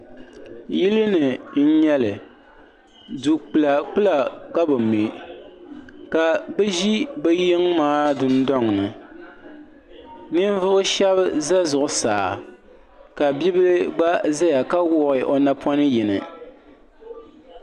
Yilini n nyɛli du kpila kpila ka bɛ mɛ ka bɛ ʒi bɛ yiŋa maa dundoŋni ninvuɣu sheba za zuɣusaa ka biibila gba zaya ka wuɣi o napoŋ yini.